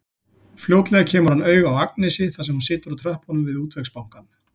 Fljótlega kemur hann auga á Agnesi þar sem hún situr á tröppunum við Útvegsbankann.